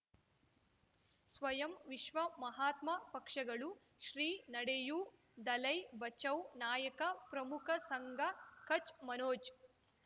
ಸ್ವಯಂ ವಿಶ್ವ ಮಹಾತ್ಮ ಪಕ್ಷಗಳು ಶ್ರೀ ನಡೆಯೂ ದಲೈ ಬಚೌ ನಾಯಕ ಪ್ರಮುಖ ಸಂಘ ಕಚ್ ಮನೋಜ್